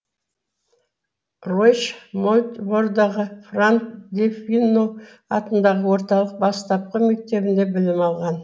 ройч мольбордағы франк дефиньо атындағы орталық бастапқы мектебінде білім алған